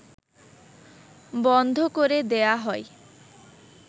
বন্ধ করে দেয়া হয়